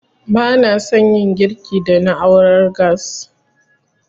Ba na san yin girki da na'urar gas